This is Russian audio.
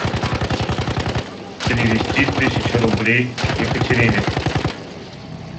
перевести тысячу рублей екатерине